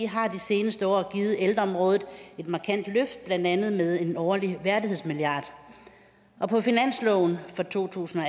har de seneste år givet ældreområdet et markant løft blandt andet med en årlig værdighedsmilliard og på finansloven for to tusind og